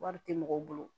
Wari tɛ mɔgɔw bolo